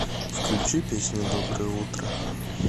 включи песню доброе утро